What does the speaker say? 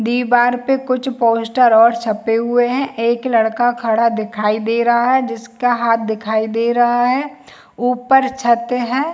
दिबार पे कुछ पोस्टर और छपे हुए है एक लड़का खड़ा दिखाई दे रहा है जिसका हाथ दिखाई दे रहा है ऊपर छते है।